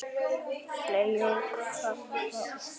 fley ok fagrar árar